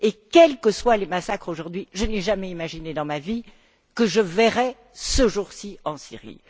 Quels que soient les massacres aujourd'hui, je n'avais jamais imaginé dans ma vie que je verrais ce jour ci en Syrie.